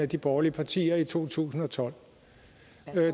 de borgerlige partier i to tusind og tolv